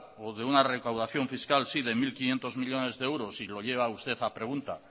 o de una recaudación fiscal si de mil quinientos millónes de euros y lo lleva usted a pregunta